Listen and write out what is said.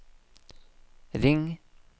ring